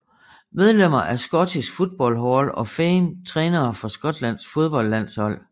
Medlemmer af Scottish Football Hall of Fame Trænere for Skotlands fodboldlandshold